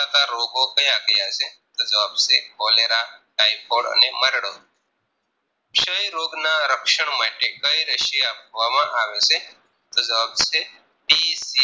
ફેરલતા રોગો ક્યાં ક્યાં છે તોજવાબ છે Cholera typhoid અને મરડો ક્ષય રોગના રક્ષણ માટે કઈ રશી આપવામાં આવે છે તો જવાબ છે DC